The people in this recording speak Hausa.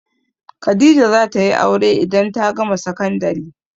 Khadijah za ta yi aure idan ta gama sakandari.